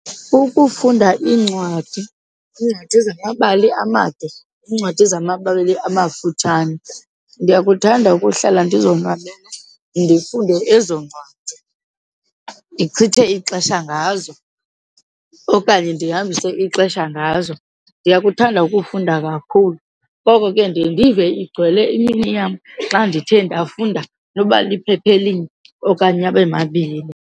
Ukufunda incwadi, iincwadi zamabali amade, iincwadi zamabali amafutshane. Ndiyakuthanda ukuhlala ndizonwabele ndifunde ezo ncwadi, ndichithe ixesha ngazo okanye ndihambise ixesha ngazo. Ndiyakuthanda ukufunda kakhulu, ngoko ke ndiye ndiyive igcwele imini yam xa ndithe ndafunda noba liphepha elinye okanye abe mabini.